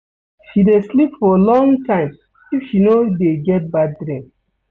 She dey sleep for long time if she no dey get bad dream.